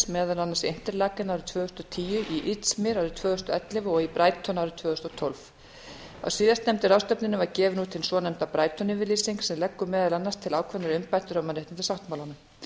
meðal annars international tvö þúsund og tíu í izmir árið tvö þúsund og ellefu og í brighton árið tvö þúsund og tólf á síðast nefndu ráðstefnunni var gefin út hin svonefnda brighton yfirlýsing sem leggur meðal annars til ákveðnar umbætur á mannréttindasáttmálanum